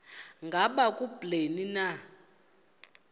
ngaba kubleni na